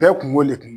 Bɛɛ kun b'o de